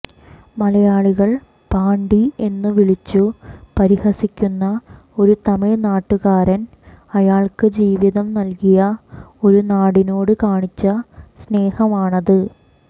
മലയാളികൾ പാണ്ടി എന്നു വിളിച്ചു പരിഹസിക്കുന്ന ഒരു തമിഴ് നാടുകാരൻ അയാൾക്ക് ജീവിതം നൽകിയ ഒരു നാടിനോട് കാണിച്ച സ്നേഹമാണത്